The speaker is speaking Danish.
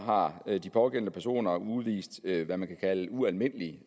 har de pågældende personer udvist hvad man kan kalde ualmindelig